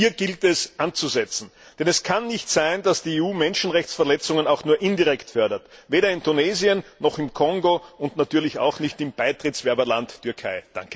Hier gilt es, anzusetzen, denn es kann nicht sein, dass die EU Menschenrechtsverletzungen auch nur indirekt fördert, weder in Tunesien, noch im Kongo und natürlich auch nicht im Beitrittskandidatenland Türkei.